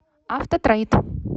автотрейд